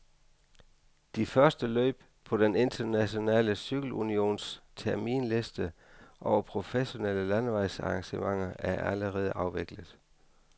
De første løb på den internationale cykelunions terminsliste over professionelle landevejsarrangementer er allerede afviklet.